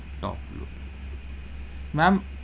Top load, ma'am.